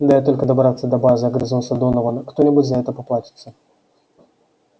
дай только добраться до базы огрызнулся донован кто-нибудь за это поплатится